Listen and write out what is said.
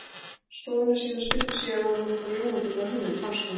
stofuna sína stuttu síðar var hann búinn að fá ljómandi góða hugmynd, fannst honum.